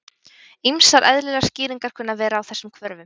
Ýmsar eðlilegar skýringar kunna að vera á þessum hvörfum.